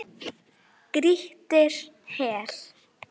Grýttir í hel.